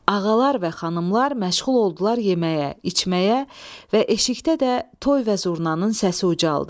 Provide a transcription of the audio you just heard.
Ağalar və xanımlar məşğul oldular yeməyə, içməyə və eşikdə də toy və zurnanın səsi ucaldı.